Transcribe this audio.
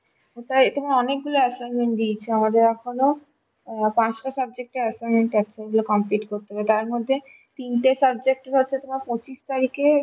ওটাই তবে অনেকগুলো assignment দিয়েছে আরো এখনো আঁ পাঁচটা subject এর assignment আছে এগুলো complete করতে হবে তারমধ্যে তিনটে subject হচ্ছে তোমার পচিশ তারিখে